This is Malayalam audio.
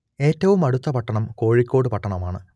ഏറ്റവും അടുത്ത പട്ടണം കോഴിക്കോട് പട്ടണമാണ്